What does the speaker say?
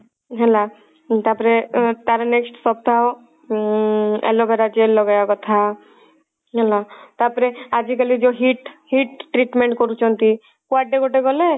ହେଲା ତାପରେ ତାର next ସପ୍ତାହ ଉଁ aloe vera gel ଲଗେଇବା କଥା ହେଲା ତାପରେ ଆଜି କାଲି ଯଉ heat heat treatment କରୁଛନ୍ତି କୁଆଡେ ଗୋଟେ ଗଲେ